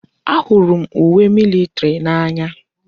Ahụrụ m uwe militiri n'anya.